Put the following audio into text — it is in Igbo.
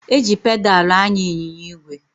E ji pedalụ anya ịnyịnya ígwè